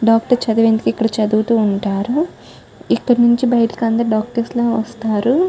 Doctor చదివేందుకు ఇక్కడ చదువుతూ ఉంటారు ఇక్కడ నుంచి బయటికి అందరూ డాక్టర్స్ లా వస్తారు.